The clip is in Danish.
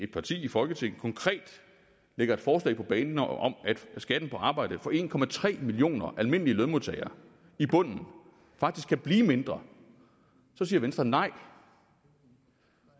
parti i folketinget konkret bringer et forslag på banen om at skatten på arbejde for en millioner almindelige lønmodtagere i bunden faktisk kan blive mindre så siger venstre nej